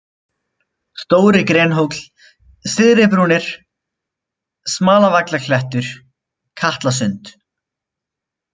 Stóri-Grenhóll, Syðribrúnir, Smalavallaklettur, Katlasund